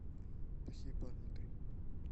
плохие парни три